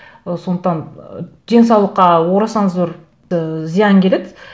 ы сондықтан ы денсаулыққа орасан зор ы зиян келеді